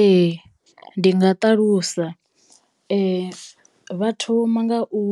Ee ndi nga ṱalusa vha thoma nga u